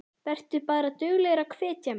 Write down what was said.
Vertu bara duglegur að hvetja mig.